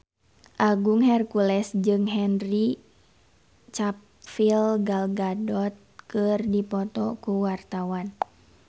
Agung Hercules jeung Henry Cavill Gal Gadot keur dipoto ku wartawan